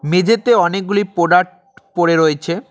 মেঝেতে অনেকগুলি প্রোডাক্ট পড়ে রয়েছে।